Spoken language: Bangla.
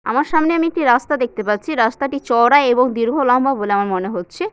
আমার সামনে আমি একটি রাস্তা দেখতে পাচ্ছি রাস্তাটি চওড়া এবং দীর্ঘ লম্বা বলে আমার মনে হচ্ছে।